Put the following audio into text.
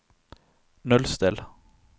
nullstill